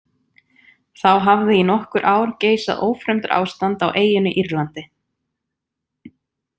Þá hafði í nokkur ár geisað ófremdarástand á eyjunni Írlandi.